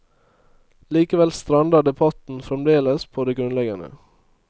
Likevel strander debatten fremdeles på det grunnleggende.